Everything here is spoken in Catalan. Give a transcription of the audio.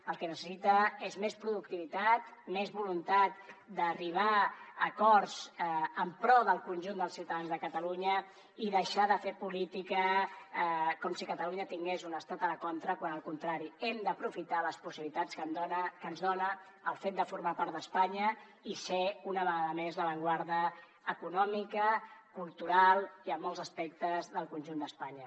el que necessita és més productivitat més voluntat d’arribar a acords en pro del conjunt dels ciutadans de catalunya i deixar de fer política com si catalunya tingués un estat a la contra quan al contrari hem d’aprofitar les possibilitats que ens dona el fet de formar part d’espanya i ser una vegada més l’avantguarda econòmica cultural i en molts aspectes del conjunt d’espanya